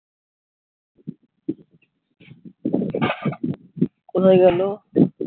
কোথায় গেলো